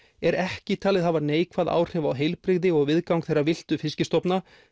er ekki talið hafa neikvæð áhrif á heilbrigði og viðgang þeirra villtu fiskistofna